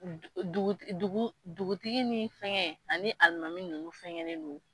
Dugu duguti dugu dugutigi ni fɛnkɛ ani alimami ninnu fɛnkɛ ne don